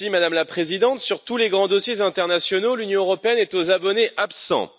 Madame la Présidente, sur tous les grands dossiers internationaux, l'Union européenne est aux abonnés absents.